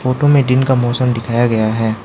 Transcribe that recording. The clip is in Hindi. फोटो में दिन का मौसम दिखाया गया है।